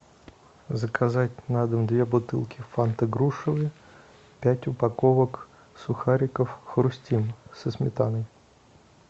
заказать на дом две бутылки фанты грушевые пять упаковок сухариков хрустим со сметаной